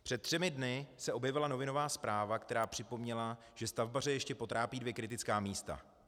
Před třemi dny se objevila novinová zpráva, která připomněla, že stavbaře ještě potrápí dvě kritická místa.